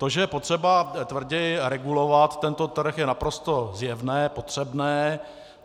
To, že je potřeba tvrději regulovat tento trh, je naprosto zjevné, potřebné.